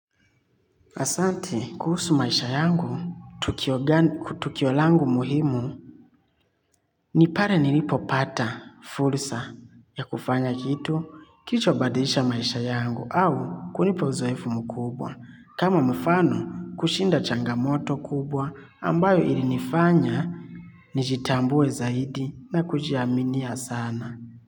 Asante kuhusu maisha yangu tukio langu muhimu ni pale nilipopata fursa ya kufanya kitu kilichobadililisha maisha yangu au kunipa uzoefu mkubwa kama mfano kushinda changamoto kubwa ambayo ilinifanya nijitambue zaidi na kujiaminia sana.